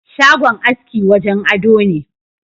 Shagon aski wajen ado ne.